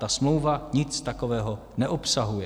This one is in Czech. Ta smlouva nic takového neobsahuje.